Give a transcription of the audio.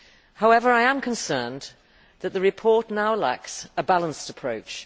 However, I am concerned that the report now lacks a balanced approach.